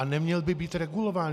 A neměl by být regulován.